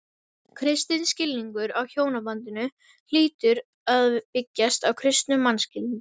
Kristinn skilningur á hjónabandinu hlýtur að byggjast á kristnum mannskilningi.